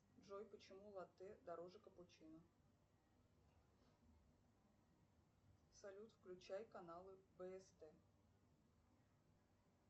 джой почему латте дороже капучино салют включай каналы бст